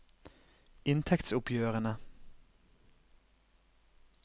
inntektsoppgjørene